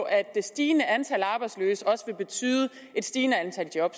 at det stigende antal arbejdsløse også vil betyde et stigende antal job